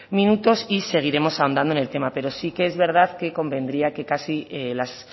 minutos y seguiremos ahondando en el tema pero sí que es verdad que convendría que casi las